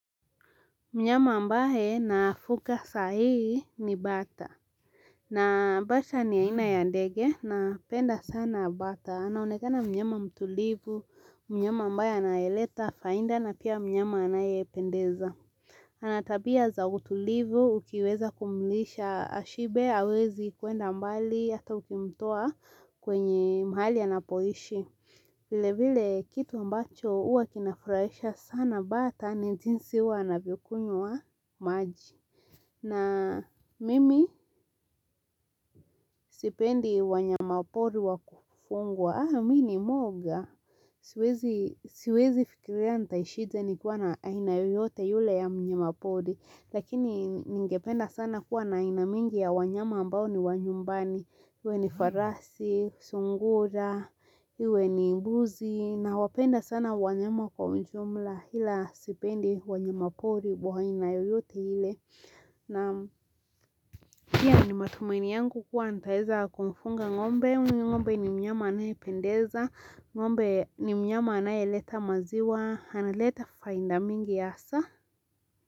Mnyama ambaye nafuga sahii ni bata na bata ni yaina ya ndege napenda sana bata anaonekana mnyama mtulivu mnyama ambaye anayeleta faida na pia mnyama anayependeza ana tabia za utulivu ukiweza kumlisha ashibe awezi kwenda mbali hata ukimtoa kwenye mahali anapoishi. Vilevile kitu ambacho huwa kinafuraisha sana bata ni jinsi huwa anavyokunywa maji. Na mimi sipendi wanyamapori wakufugwa. Haa, mimi ni mwoga, siwezi fikiria nitaishije nikiwa na aina yoyote yule ya mnyamapori, lakini ningependa sana kuwa na aina mingi ya wanyama ambao ni wa nyumbani, iwe ni farasi, sungura, iwe ni mbuzi, nawapenda sana wanyama kwa ujumla ila sipendi wanyamapori wa aina yoyote ile. Naam, pia ni matumaini yangu kuwa nitaweza kumfuga ng'ombe ng'ombe ni mnyama anayependeza ngombe ni mnyama anayeleta maziwa analeta faida mingi hasa.